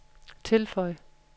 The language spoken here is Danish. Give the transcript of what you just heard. tilføj